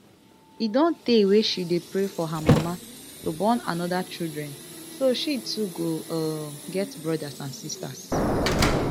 e don tay wey she dey pray for her mama to born oda children so she too go um get brothers and sisters